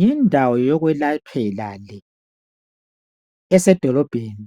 Yindawo yokwelaphela le, esedolobheni.